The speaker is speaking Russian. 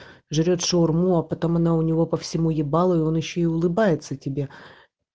жрёт шаурму а потом она у него по всему ебалу и он ещё и улыбается тебе